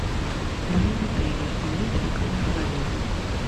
в моем отеле имеется ли камера хранения